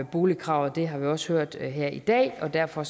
boligkravet det har vi også hørt her i dag og derfor